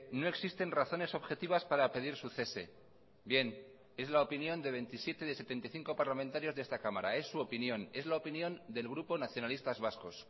no existen razones objetivas para pedir su cese bien es la opinión de veintisiete de setenta y cinco parlamentarios de esta cámara es su opinión es la opinión del grupo nacionalistas vascos